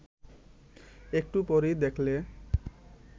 একটু পরেই দেখলে